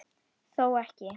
Þó ekki?